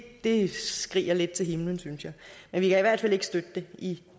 det skriger lidt til himlen synes jeg jeg vi kan i hvert fald ikke støtte det i